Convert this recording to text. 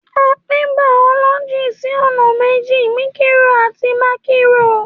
À piń bàọlọjí sọna mẹji; míkìrò àtí màkírò.